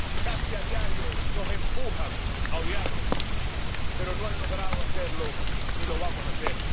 Casi a diario nos empujan a odiarlos, pero no han logrado hacerlo ni lo vamos a hacer.